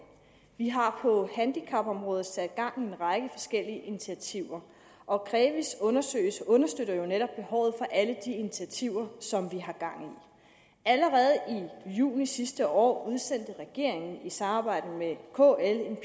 vi har på handicapområdet sat gang i en række forskellige initiativer og krevi’s undersøgelser understøtter jo netop behovet for alle disse initiativer som vi har gang i allerede i juni sidste år udsendte regeringen i samarbejde med kl en